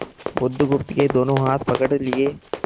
बुधगुप्त के दोनों हाथ पकड़ लिए